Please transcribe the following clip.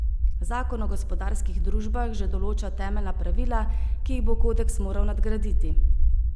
Zakon o gospodarskih družbah že določa temeljna pravila, ki jih bo kodeks moral nadgraditi.